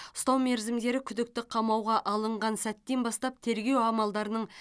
ұстау мерзімдері күдікті қамауға алынған сәттен бастап тергеу амалдарының